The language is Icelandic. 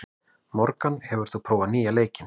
Morgan, hefur þú prófað nýja leikinn?